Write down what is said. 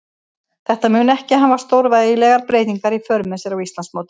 Þetta mun ekki hafa stórvægilegar breytingar í för með sér á Íslandsmótinu.